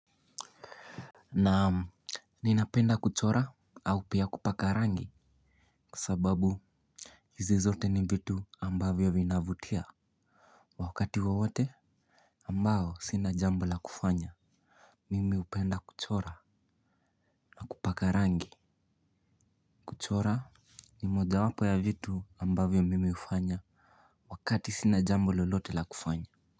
Naamu. Ninapenda kuchora au pia kupakarangi. Kwa sababu hizi zote ni vitu ambavyo vinavutia. Wakati wowote ambao sina jambo la kufanya. Mimi upenda kuchora Kupakarangi. Kuchora ni moja wapo ya vitu ambavyo mimi hufanya. Wakati sina jambo lolote la kufanya.